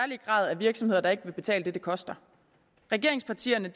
virksomheder der ikke vil betale det det koster regeringspartierne